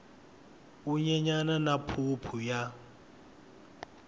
wu nyenyana na phuphu ya